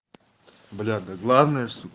бля да главное ж су